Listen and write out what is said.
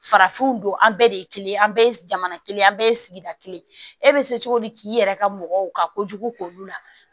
Farafinw don an bɛɛ de ye kelen ye an bɛɛ jamana kelen an bɛɛ ye sigida kelen e bɛ se cogo di k'i yɛrɛ ka mɔgɔw ka kojugu k'olu la